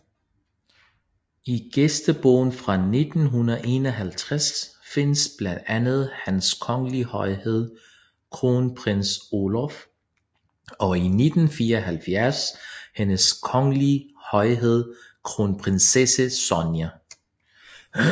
I gæstebogen fra 1951 findes blandt andet Hans kongelige højhed Kronprins Olav og i 1974 Hendes kongelige højhed Kronprinsesse Sonja